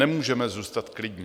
Nemůžeme zůstat klidní.